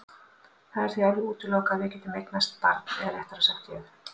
Það er því alveg útilokað að við getum eignast barn eða réttara sagt ég.